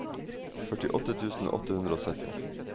førtiåtte tusen åtte hundre og sytti